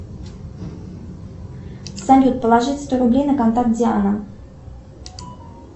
салют положить сто рублей на контакт диана